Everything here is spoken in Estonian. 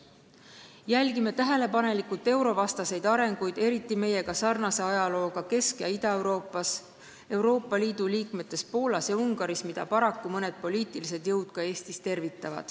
Jälgime tähelepanelikult eurovastaseid arenguid – eriti meiega sarnase ajalooga Kesk- ja Ida-Euroopas, Euroopa Liitu kuuluvates Poolas ja Ungaris –, mida paraku tervitavad mõned poliitilised jõud ka Eestis.